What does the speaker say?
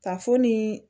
Ka fo ni